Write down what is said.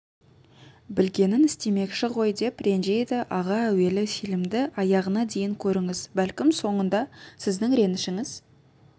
білгенін істемекші ғой деп ренжиді аға әуелі фильмді аяғына дейін көріңіз бәлкім соңында сіздің ренішіңіз